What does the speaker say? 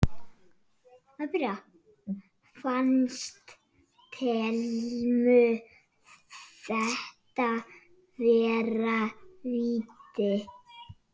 Fannst Thelmu þetta vera víti?